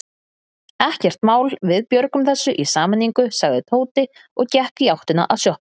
Ekkert mál, við björgum þessu í sameiningu sagði Tóti og gekk í áttina að sjoppunni.